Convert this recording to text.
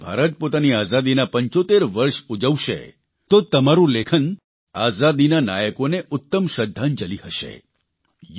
હવે જ્યારે ભારત પોતાની આઝાદીના 75 વર્ષ ઉજવશે તો તમારૂં લેખન આઝાદીના નાયકોને ઉત્તમ શ્રદ્ધાંજલિ હશે